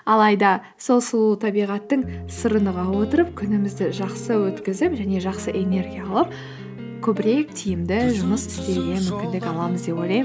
алайда сол сұлу табиғаттың сырын ұға отырып күнімізді жақсы өткізіп және жақсы энергия алып көбірек тиімді деп ойлаймын